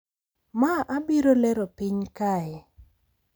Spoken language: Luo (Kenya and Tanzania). Ma abiro lero piny kae.